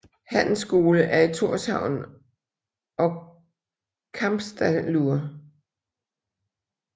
Handelsskole er i Tórshavn og Kambsdalur